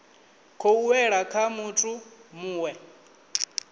khou wela kha muthu muwe